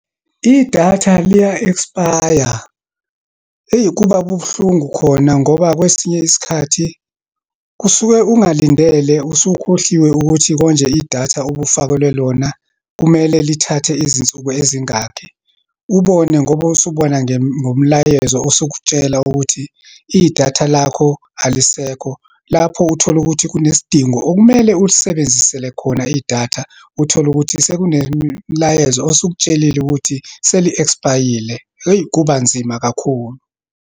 Idatha liya-expire. Eyi, kuba buhlungu khona, ngoba kwesinye isikhathi kusuke ungalindele, usukhohliwe ukuthi konje idatha obufakelwe lona, kumele lithathe izinsuku ezingaki. Ubone ngoba usubona nge, ngomlayezo usukutshela ukuthi idatha lakho alisekho. Lapho utholukuthi kunesidingo okumele ulisebenzisele khona idatha. Uthole ukuthi sekunemlayezo osukutshelili ukuthi seli-expire-yile. Eyi, kuba nzima kakhulu.